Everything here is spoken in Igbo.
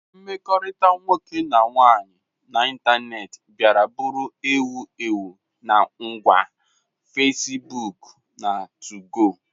mkpakọrịta nwoke na nwaanyị n'ịntanetị bịara bụrụ ewu ewu na ngwa Facebook na 2go